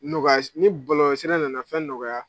Nɔgɔya ni bɔlɔlɔsira nana fɛn nɔgɔya